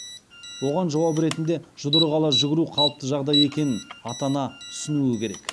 оған жауап ретінде жұдырық ала жүгіру қалыпты жағдай екенін ата ана түсінуі керек